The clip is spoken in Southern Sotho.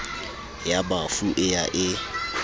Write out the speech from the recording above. ya bafu e ya e